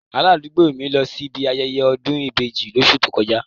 Aládùúgbò mi lọ síbi ayẹyẹ ọ̀dún ìbeji lóṣù tó kọjá.